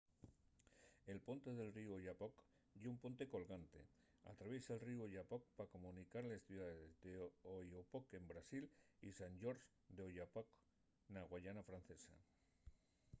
la ponte del ríu oyapock ye una ponte colgante. atraviesa’l ríu oyapock pa comunicar les ciudaes d’oiapoque en brasil y saint-georges de l’oyapock na guayana francesa